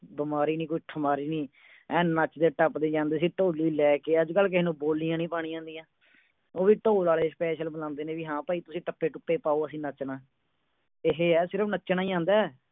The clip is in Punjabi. ਬਮਾਰੀ ਨਹੀਂ ਕੋਈ ਸ਼ੁਮਾਰੀ ਨਹੀਂ ਐਨ ਨੱਚਦੇ-ਟੱਪਦੇ ਜਾਂਦੇ ਸੀ ਡੋਲੀ ਲੈ ਕੇ ਅਜ ਕਲ ਕਿਸੇ ਨੂੰ ਬੋਲਿਆ ਨਹੀਂ ਭਾਣੀਆਂ ਆਉਂਦੀਆਂ ਉਹ ਵੀ ਢੋਲ ਵਾਲੇ special ਬੁਲਾਉਂਦੇ ਨੇ ਹਾਂ ਭਾਈ ਤੁਸੀਂ ਟਪਿਹ ਟਿਪਐ ਪਾਓ ਅਸੀਂ ਨੱਚਣਾ ਹੈ ਇਹ ਹੈ ਸਿਰਫ਼ ਨੱਚਣਾ ਹੀ ਆਉਂਦਾ ਹੈ